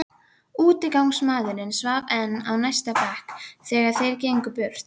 Útigangsmaðurinn svaf enn á næsta bekk, þegar þeir gengu burt.